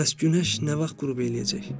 Bəs günəş nə vaxt qürub eləyəcək?